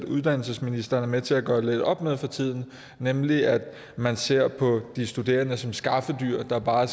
uddannelsesministeren er med til at gøre lidt op med for tiden nemlig at man ser på de studerende som skaffedyr der bare